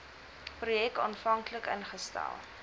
projek aanvanklik ingestel